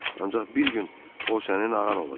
Ancaq bir gün o sənin ağan olacaq.